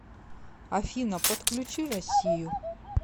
афина подключи россию